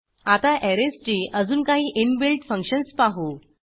आता ऍरेजची अजून काही इनबिल्ट फंक्शन्स पाहू